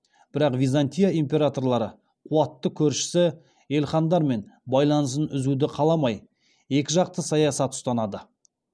бірақ византия императорлары қуатты көршісі елхандармен байланысын үзуді қаламай екіжақты саясат ұстанды